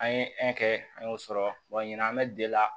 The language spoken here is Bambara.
An ye kɛ an y'o sɔrɔ wa ɲinan an bɛ la